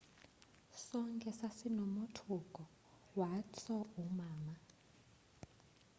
sonke sasinomothuko wathso umama